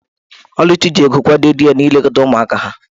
Oluchi ji ego kwado di ya n'ilekọta ụmụaka ha.